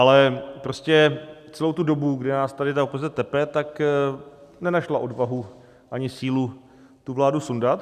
Ale prostě celou tu dobu, kdy nás tady ta opozice tepe, tak nenašla odvahu ani sílu tu vládu sundat.